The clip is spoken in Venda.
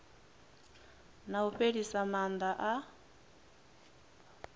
na u fhelisa maana a